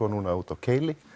núna út á Keili